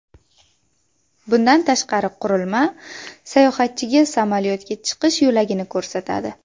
Bundan tashqari, qurilma sayohatchiga samolyotga chiqish yo‘lagini ko‘rsatadi.